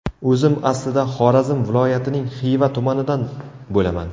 O‘zim aslida, Xorazm viloyatining Xiva tumanidan bo‘laman.